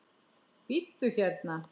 Bíddu hérna.